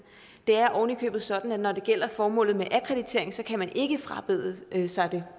det er ovenikøbet sådan at når det gælder formålet med akkreditering kan man ikke frabede sig det